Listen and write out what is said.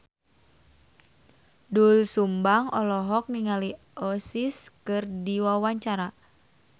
Doel Sumbang olohok ningali Oasis keur diwawancara